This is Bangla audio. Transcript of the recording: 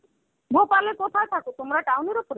Bhopal এ কোথায় থাকো তোমরা, town এর উপরে?